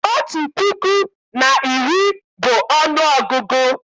Otu puku na iri bụ ọnụọgụgụ